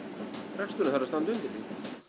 reksturinn þarf að standa undir því